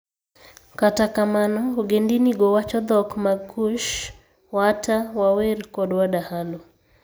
Kata kamano, ogendinigo wacho dhok mag Kush: Waata, Waawer, kod Wadahalo.